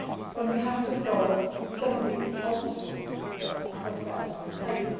policy. But we have to solve some of the obstacles that, as I have said, are